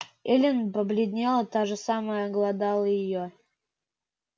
эллин побледнела та же мысль глодала и её